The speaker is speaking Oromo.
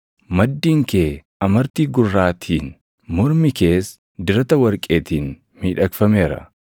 Maddiin kee amartii gurraatiin, mormii kees dirata warqeetiin miidhagfameera.